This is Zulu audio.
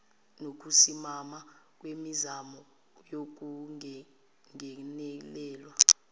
nokusimama kwemizamo yokungenelelwa